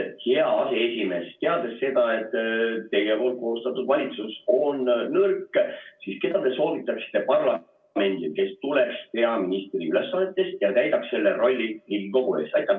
Hea aseesimees, teades seda, et teie koostatud valitsus on nõrk, keda te soovitaksite parlamendile, kes tuleks peaministri ülesannetes ja täidaks selle rolli Riigikogu ees?